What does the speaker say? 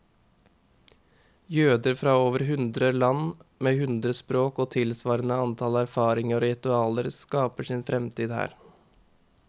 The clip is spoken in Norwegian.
Jøder fra over hundre land, med hundre språk og tilsvarende antall erfaringer og ritualer, skaper sin fremtid her.